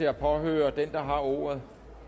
at påhøre den der har ordet